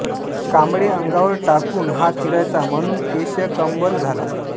कांबळे अंगावर टाकून हा फिरायचा म्हणून केशकम्बल झाला